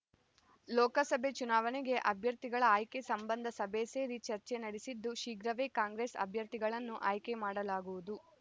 ಲೋಕಸಭೆ ಚುನಾವಣೆಗೆ ಅಭ್ಯರ್ಥಿಗಳ ಆಯ್ಕೆ ಸಂಬಂಧ ಸಭೆ ಸೇರಿ ಚರ್ಚೆ ನಡೆಸಿದ್ದು ಶೀಘ್ರವೇ ಕಾಂಗ್ರೆಸ್ ಅಭ್ಯರ್ಥಿಗಳನ್ನು ಆಯ್ಕೆ ಮಾಡಲಾಗುವುದು